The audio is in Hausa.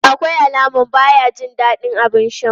Akwai alaman baya jin dadin abin sha.